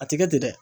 A tɛ kɛ ten dɛ